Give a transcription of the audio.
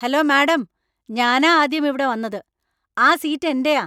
Hello madam, ഞാനാ ആദ്യം ഇവിടെ വന്നത്. ആ സീറ്റ് എന്‍റെയാ.